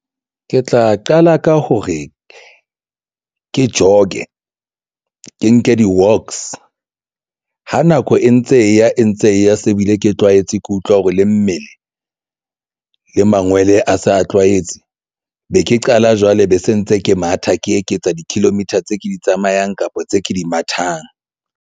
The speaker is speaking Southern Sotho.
Ke tla qala ka hore ke jog-e ke nke di-walks, ha nako e ntse e ya e ntse e ya se bile ke tlwaetse ke utlwa hore le mmele le mangwele a se a tlwaetse. Be ke qala jwale be se ntse ke matha ke eketsa di-kilometer tse ke di tsamayang kapa tse ke di mathang.